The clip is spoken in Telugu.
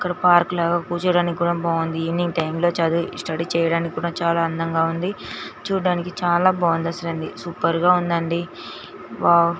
ఇక్కడ పార్క్ లో కూర్చోటానికి కూడ బాగుంది. ఈవెనింగ్ టైం లో చదివి స్టడీ చేయటానికి కూడ చాలా అందంగా ఉంది. చూడటానికి చాలా బాగుంది అసలా సూపర్ గా ఉందండి వావ్ .